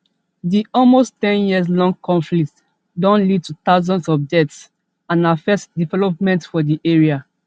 di almost ten years long conflict don lead to thousands of deaths and affect development for di area